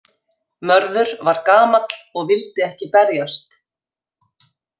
Mörður var gamall og vildi ekki berjast.